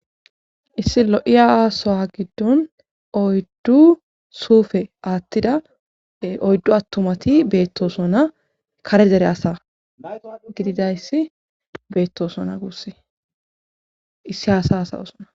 Issi lo7i asowa giddon oyddu suufe aattida oyddu attumati beettosona kare zere asa gididayssi beettosona gusse issi hasa asayosona.